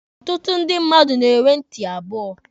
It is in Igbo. Ọtụtụ ndị mmadụ na-enwe ntị abụọ.